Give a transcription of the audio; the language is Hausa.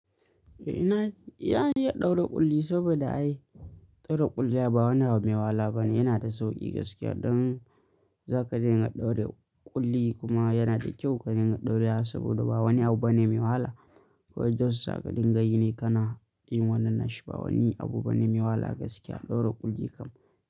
Eh ina, yana iya ɗaure ƙulli saboda ai ɗaure ƙulli ba wani abu mai wahala bane, yana da sauƙi gaskiya. Don zakai dinga ɗaure ƙulli kuma yana da kyau ka dinga ɗaure saɓoda ba wani abu bane mai wahala. Kowa da wasu zakadin ga yi ne kana yin wannan na shi ba wani abu bane mai wahala gaskiya ɗaure ƙulli kam.